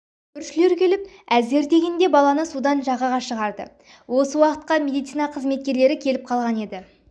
көршілер келіп әзер дегенде баланы судан жағаға шығарды осы уақытқа медицина қызметкерлері келіп қалған еді